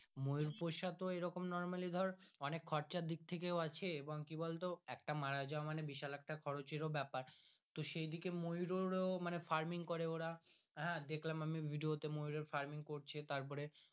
ময়ুর পোষা তো normally ধর অনেক খরচের দিকথাকে আছে এবং তো একটা মারা যাওয়া মানে বিশাল একটা খরচেরও ব্যাপার তো সেই দিকে ময়ুর ও farming ও মানে করে ওরা হ্যাঁ দেখলাম আমি Video তে ময়ুরএর farming করছে ওরা।